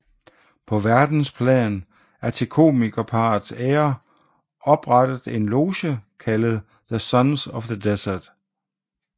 På verdensplan er til komikerparrets ære oprettet en loge kaldet The Sons of the Desert